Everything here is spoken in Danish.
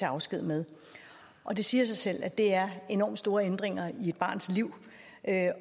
afsked med det siger sig selv at det er enormt store ændringer i et barns liv